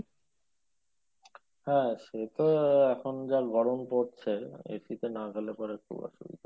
হ্যাঁ সে তো এখন যা গরম পড়ছে, AC তে না গেলে খুব অসুবিধা।